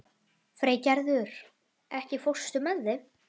Freygerður, ekki fórstu með þeim?